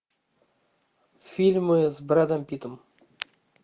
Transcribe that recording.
фильмы с брэдом питтом